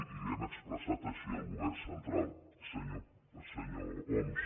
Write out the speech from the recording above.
i li ho hem expressat així al govern central senyor homs